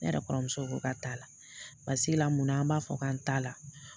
Ne yɛrɛ kɔrɔmuso ko k'a t'a la paseke la mun na an b'a fɔ k'an t'a la